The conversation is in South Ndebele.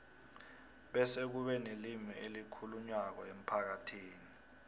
bese kube nelimi elikhulunywako emphakathini